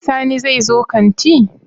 Sani zai zo kanti?